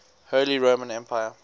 holy roman empire